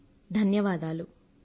ధన్యవాదాలు అని ఆ సందేశంలో ఉంది